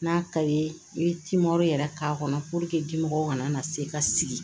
N'a ka di ye i bɛ timɔr yɛrɛ k'a kɔnɔ dimɔgɔ kana na se ka sigi